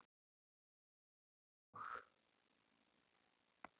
Það eru lög.